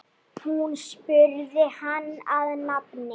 Hún spurði hann að nafni.